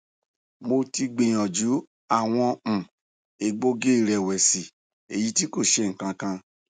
mo ti gbiyanju awọn um egboogiirẹwẹsi eyiti ko ṣe nkan kan